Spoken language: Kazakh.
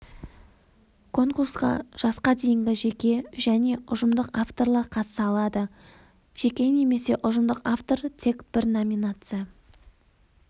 конкурсқа жасқа дейінгі жеке және ұжымдық авторлар қатыса алады жеке немесе ұжымдық автор тек бір номинация